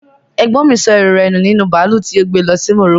Ẹ̀gbọ́n mi sọ ẹrú rẹ̀ nu nínú bàálù tí ó gbe lọ sí Morocco